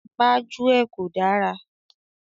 Gbájúẹ̀ kò dára.